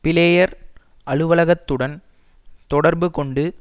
player அலுவலகத்துடன் தொடர்பு கொண்டு